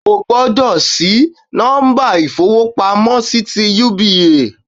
O gbọ́dọ̀ sí nọ́mbà ìfowópamọ́ sí ti UBA